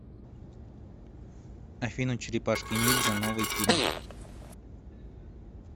афина черепашки ниндзя новый фильм